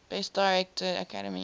best director academy